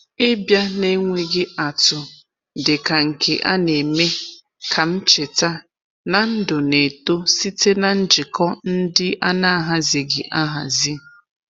Ịbịa n’enweghị atụ dị ka nke a na-eme ka m cheta na ndụ na-eto site na njikọ ndị a na-ahaziịghị ahazi.